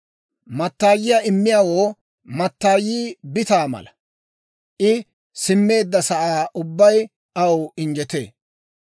Mattayiyaa immiyaawoo mattaayii bitaa mala; I simmeedda sa'aa ubbay aw injjetee.